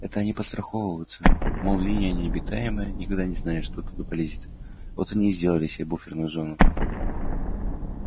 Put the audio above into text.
это они подстраховываются мол линия необитаемая никогда не знаешь что оттуда полезет вот они и сделали себе буферную зону